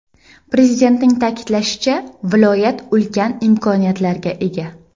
Prezidentning ta’kidlashicha, viloyat ulkan imkoniyatlarga ega.